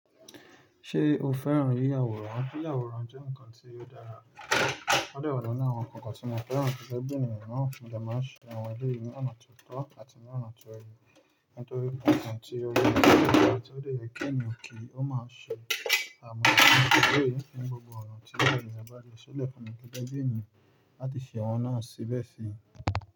Ṣé o fẹ́ràn yíya àwòrán? Yíya àwòrán jẹ́ ǹkan tí o dára. Ódẹ̀ ọ̀nà náà wọn kankan tí mo fẹ́ràn ju bẹ́ẹ̀ ni ènìyàn náà máa ṣe àwọn ẹlẹ́rìí ní ọ̀nà tó tọ́ àti ní ọ̀nà tó ẹni, nítorí ǹkan tí ó wé gbogbo àti ó lè kíni òkè ó máa ṣe àmọ́ ẹlẹ́rìí ní gbogbo ọ̀nà tí báyìí bá rẹ̀ ṣólẹ̀ fún ní kíkẹ́ bí ènìyàn láti ṣe àwọn náà síbẹ̀ sí.